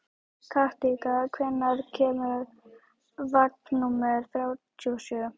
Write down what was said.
Kathinka, hvenær kemur vagn númer þrjátíu og sjö?